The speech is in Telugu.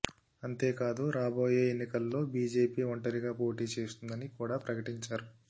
అంతే కాదు రాబోయే ఎన్నికల్లో బిజేపి ఒంటిరిగా పోటీ చేస్తుందని కూడా ప్రకటించారు